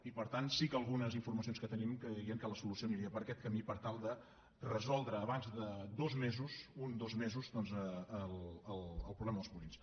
i per tant sí que algunes informacions que tenim dirien que la solució aniria per aquest camí per tal de resoldre abans de dos mesos un dos mesos el problema dels purins